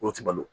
Olu ti balo